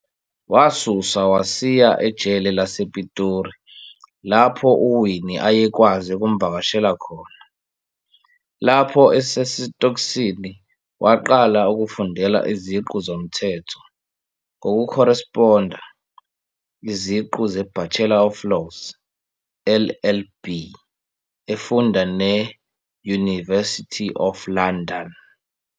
Wasuswa wasiya ejele lasePitori lapho uWinnie ayekwazi ukumvakashela khona, lapho esesitokisini waqala ukufundela iziqu zomthetho ngokukhoresponda, iziqu ze-Bachelor of Laws, LLB, efunda ne-University of London.